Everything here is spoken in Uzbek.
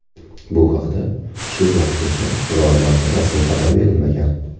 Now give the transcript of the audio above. Bu haqda shu vaqtgacha biror marta rasmiy axborot berilmagan.